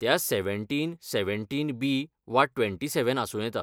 त्या seventeen, seventeen B वा twenty seven आसूं येता.